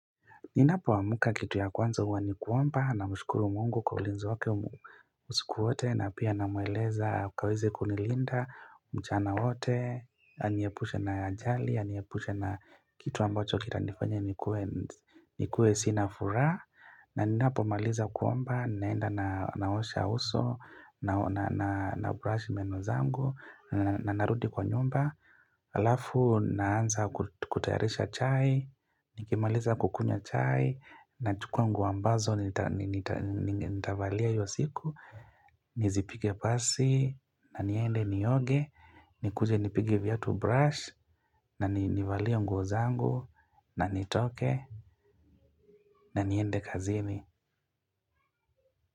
Ninapoamka kitu ya kwanza huwa ni kuomba namshukuru mungu kwa ulinzi wake usiku wote na pia namueleza kaweze kunilinda, mchana wote, aniepushe na ajali, aniepushe na kitu ambacho kita nifanya nikue sinafuraha. Na ninapo maliza kuomba, naenda naosha uso, na brush meno zangu, na narudi kwa nyumba Alafu, naanza kutayarisha chai, nikimaliza kukunya chai, na chukua nguo ambazo, nitavalia hiyo siku Nizipige pasi, na niende nioge, nikuje nipige viatu brush, na nivalie nguo zangu, na nitoke, na niende kazini.